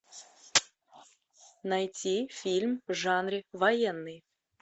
найти фильм в жанре военный